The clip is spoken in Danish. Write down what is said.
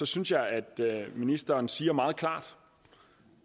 synes jeg at ministeren siger meget klart